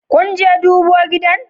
Kunje dubo gidan?